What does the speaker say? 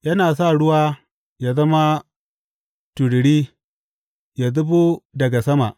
Yana sa ruwa yă zama tururi yă zubo daga sama.